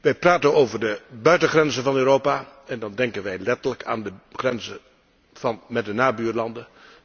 Wij praten over de buitengrenzen van Europa. En dan denken wij letterlijk aan de grenzen met de nabuurlanden.